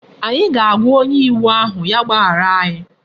Anyi ga-aagwa onye iwu ahu ya gbahara anyi